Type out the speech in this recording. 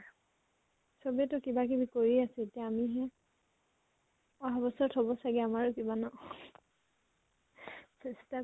চবেতো কিবা কিবি কৰি আছে এতিয়া আমি হে । অহা বছৰত হব চাগে আমাৰো কিবা ন চেষ্টা